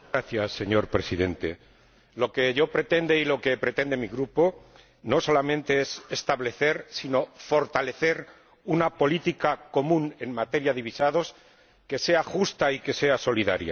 Señor Presidente, lo que yo pretendo y lo que pretende mi grupo no solamente es establecer, sino también fortalecer, una política común en materia de visados que sea justa y que sea solidaria.